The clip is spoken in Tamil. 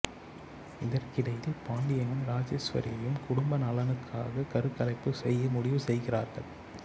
இதற்கிடையில் பாண்டியனும் ராஜேஸ்வரியும் குடும்ப நலனுக்காக கருக்கலைப்பு செய்ய முடிவு செய்கிறார்கள்